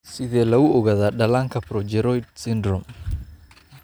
Sidee lagu ogaadaa dhallaanka progeroid syndrome?